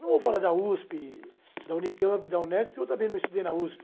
Não vou falar da USP, da Unicamp, da Unesco, que eu também não estudei na USP.